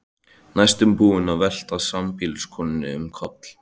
Næstum búinn að velta sambýliskonunni um koll.